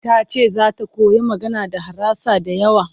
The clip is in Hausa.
Ta ce za ta koyi magana da harasa da yawa.